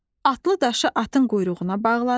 Atlı daşı atın quyruğuna bağladı.